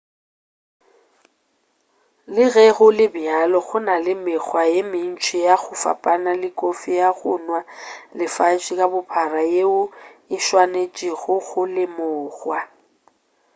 le ge go le bjalo go na le mekgwa ye mentši ya go fapana le kofi ya go nwa lefase ka bophara yeo e swanetšwego go lemogwa